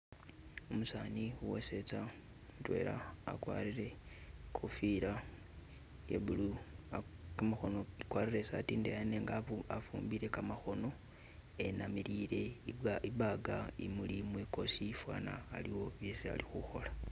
Umusani wesetsa mutwela agwarile ikofila ye blue gamakhono agwarile isaati indeyi nenga afumbile gamakhono enamilile ibaga imuli mwigosi fana aliwo byesi ali khukhola.